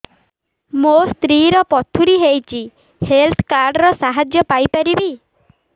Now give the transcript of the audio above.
ମୋ ସ୍ତ୍ରୀ ର ପଥୁରୀ ହେଇଚି ହେଲ୍ଥ କାର୍ଡ ର ସାହାଯ୍ୟ ପାଇପାରିବି